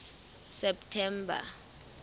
september